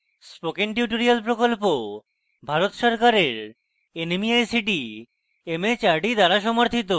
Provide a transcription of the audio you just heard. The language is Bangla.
spoken tutorial প্রকল্প ভারত সরকারের nmeict mhrd দ্বারা সমর্থিত